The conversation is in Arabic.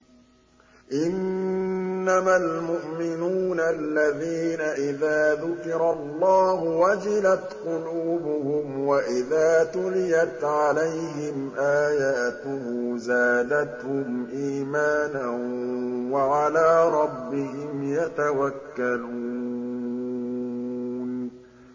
إِنَّمَا الْمُؤْمِنُونَ الَّذِينَ إِذَا ذُكِرَ اللَّهُ وَجِلَتْ قُلُوبُهُمْ وَإِذَا تُلِيَتْ عَلَيْهِمْ آيَاتُهُ زَادَتْهُمْ إِيمَانًا وَعَلَىٰ رَبِّهِمْ يَتَوَكَّلُونَ